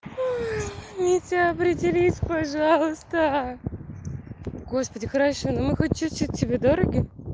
ой митя определись пожалуйста господи хорошо ну мы хоть чуть-чуть тебе дороги